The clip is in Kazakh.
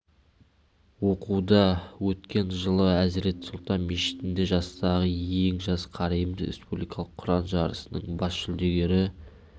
оқуда өткен жылы әзірет сұлтан мешітінде жастағы ең жас қариымыз республикалық құран жарысының бас жүлдегері